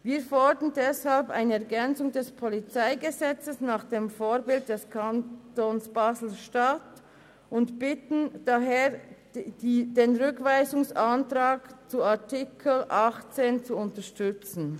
Wir fordern deshalb eine Ergänzung des PolG nach dem Vorbild des Kantons Basel-Stadt und bitten den Rat daher, den Rückweisungsantrag zu Artikel 18 zu unterstützen.